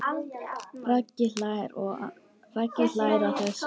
Raggi hlær að þessu.